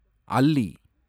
அல்லி